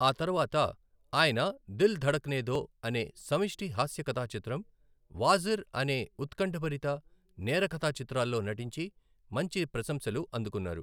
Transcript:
ఆ తర్వాత, ఆయన 'దిల్ ధడక్నే దో' అనే సమిష్టి హాస్య కథా చిత్రం, 'వాజిర్ ' అనే ఉత్కంఠభరిత నేర కథా చిత్రాల్లో నటించి మంచి ప్రశంసలు అందుకున్నారు.